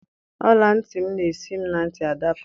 Ọla ntị m na-esi m na ntị adapụ.